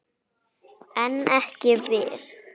En ekki við.